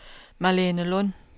Malene Lund